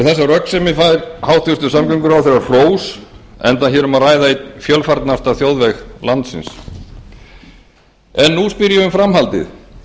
þessa röggsemi fær hæstvirtur samgönguráðherra hrós enda er hér um að ræða einn fjölfarnasta þjóðveg landsins en nú spyr ég um framhaldið